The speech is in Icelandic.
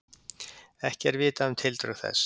Ekki er vitað um tildrög þess